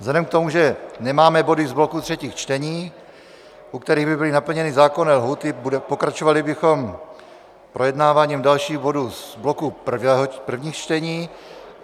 Vzhledem k tomu, že nemáme body z bloku třetích čtení, u kterých by byly naplněny zákonné lhůty, pokračovali bychom projednáváním dalších bodů z bloku prvních čtení.